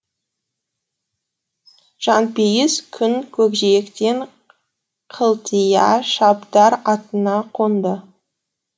жанпейіс күн көкжиектен қылтия шабдар атына қонды